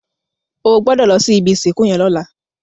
Ò gbòdò lò si ibi isinkú yèn lòlá